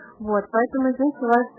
вот поэтому